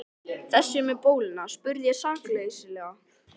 Þessi með bóluna? spurði ég sakleysislega.